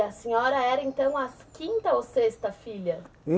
E a senhora era então a quinta ou sexta filha?